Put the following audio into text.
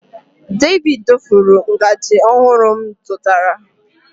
David dofuru ngaji ọhụrụ m zụtara.